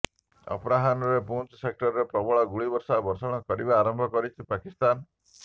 ଅପରାହ୍ନରେ ପୁଂଜ ସେକ୍ଟରରେ ପ୍ରବଳ ଗୁଳିଗୋଳା ବର୍ଷଣ କରିବା ଆରମ୍ଭ କରିଛି ପାକିସ୍ତାନ